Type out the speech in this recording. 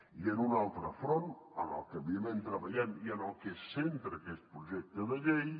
i en un altre front en el que evidentment treballem i en el que es centra aquest projecte de llei